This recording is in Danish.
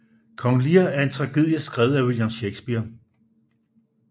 Kong Lear er en tragedie skrevet af William Shakespeare